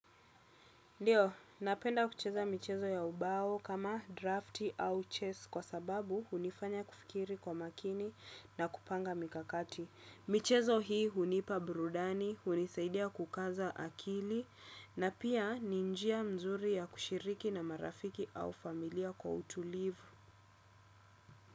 Ndiyo, napenda kucheza michezo ya ubao kama drafti au chess kwa sababu hunifanya kufikiri kwa makini na kupanga mikakati. Michezo hii hunipa burudani, hunisaidia kukaza akili na pia ni njia mzuri ya kushiriki na marafiki au familia kwa utulivu.